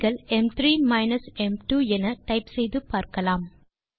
நீங்கள் ம்3 மைனஸ் ம்2 என டைப் செய்து பார்க்கலாம்